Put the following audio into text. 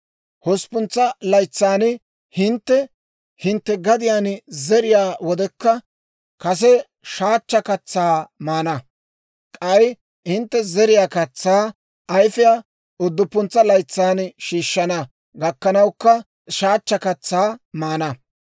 Hosppuntsa laytsan hintte hintte gadiyaan zeriyaa wodekka, kase shaachcha katsaa maana; k'ay hintte zeriyaa katsaa ayfiyaa udduppuntsa laytsan shiishshana gakkanawukka, shaachcha katsaa maana.